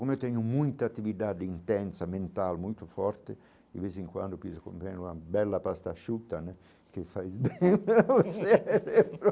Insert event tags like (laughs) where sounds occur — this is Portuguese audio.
Como eu tenho muita atividade intensa, mental, muito forte, de vez em quando eu (unintelligible) comendo uma bela pasta chuta né (laughs) que faz bem para o cérebro.